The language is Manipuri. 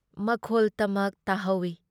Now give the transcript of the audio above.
ꯃꯈꯣꯜꯇꯃꯛ ꯇꯥꯍꯧꯏ ꯫